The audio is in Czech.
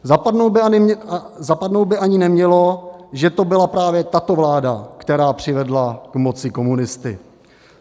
Zapadnout by ani nemělo, že to byla právě tato vláda, která přivedla k moci komunisty.